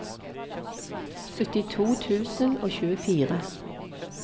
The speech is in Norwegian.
syttito tusen og tjuefire